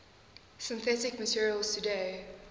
synthetic materials today